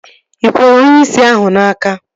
Ị kwere onyeisi ahụ n'aka?